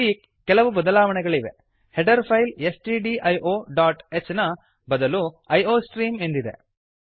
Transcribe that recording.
ಇಲ್ಲಿ ಕೆಲವು ಬದಲಾವಣೆಗಳಿವೆ header file S T D I O dot H ನ ಬದಲು ಐ ಒ ಸ್ಟ್ರೀಮ್ ಎಂದಿದೆ